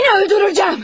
Səni öldürəcəyəm.